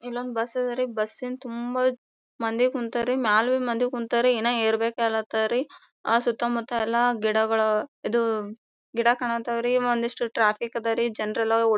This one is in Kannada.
ಇಲೊಂದು ಬಸ್ ಅದರಿ ಬಸ್ಸಿನ ತುಂಬಾ ಮಂದಿ ಕುಂತ್ತರಿ ಮಾಲ್ವಿ ಮಂದಿ ಕುಂತ್ತರಿ ಇನ್ ಏರ್ ಬೇಕು ಅನ್ಲಾತಾರ್ ಅಹ್ ಸುತ್ತ ಮುತ್ತ ಎಲ್ಲಾಗಿಡಗಳು ಇದು ಗಿಡ ಕಾಣ್ವತ್ತರಿ ಒಂದ್ ಇಷ್ಟು ಟ್ರಾಫಿಕ್ ಅದ್ವರಿ ಜನರೆಲ್ --